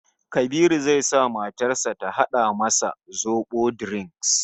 Kabiru zai sa matar sa ta hada masa zobo drink